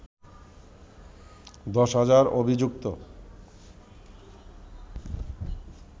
দশ হাজার অভিযুক্ত